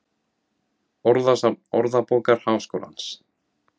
Orðasöfn Orðabókar Háskólans.